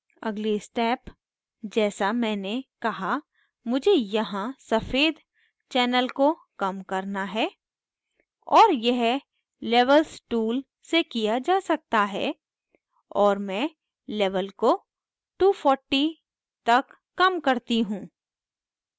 अगली step जैसा मैंने कहा मुझे यहाँ सफ़ेद channel को कम करना है और यह levels tool से किया जा सकता है और मैं levels को 240 तक कम करती हूँ